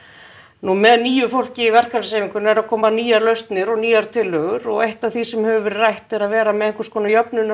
nú með nýju fólki í verkalýðshreyfingunni eru að koma nýjar lausnir og nýjar tillögur og eitt af því sem hefur verið rætt er að vera með einhvers konar